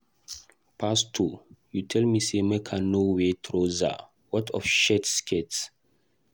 Pastor you tell me say make I no wear trouser, what of shirt skirt?